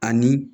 Ani